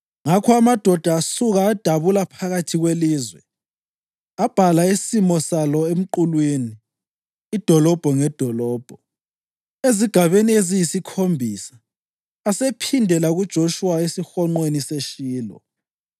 Ngakho amadoda asuka adabula phakathi kwelizwe. Abhala isimo salo emqulwini, idolobho ngedolobho, ezigabeni eziyisikhombisa, asephindela kuJoshuwa esihonqweni seShilo.